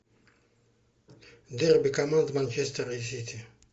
дерби команд манчестера и сити